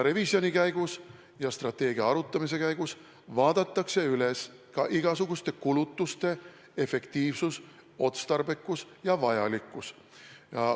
Revisjoni käigus ja strateegia arutamise käigus vaadatakse üle ka igasuguste kulutuste efektiivsus, otstarbekus ja vajalikkus.